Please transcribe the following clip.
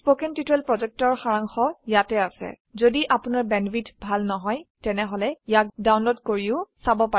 কথন শিক্ষণ প্ৰকল্পৰ সাৰাংশ ইয়াত আছে যদি আপোনাৰ বেনৱিথ ভাল নহয় তেনেহলে ইয়াক ডাউনলোড কৰি চাব পাৰে